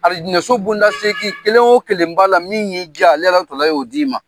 Alijinɛso bonda segin kelen o kelen ba la min y'i ja ale Alahu tala y'o di'i ma.